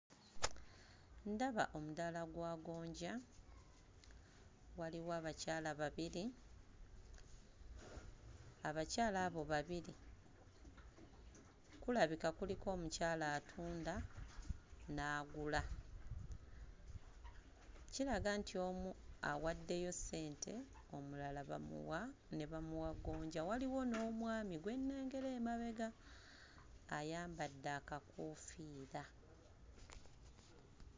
Ndaba omudaala gwa gonja, waliwo abakyala babiri; abakyala abo babiri kulabika kuliko omukyala atunda n'agula. Kiraga nti omu awaddeyo ssente omulala bamuwa ne bamuwa gonja. Waliwo n'omwami gwe nnengera emabega ayambadde akakoofiira.